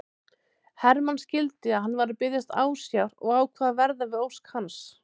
Hermann skildi að hann var að biðjast ásjár og ákvað að verða við ósk hans.